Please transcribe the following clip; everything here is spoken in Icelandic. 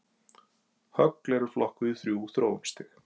Högl eru flokkuð í þrjú þróunarstig.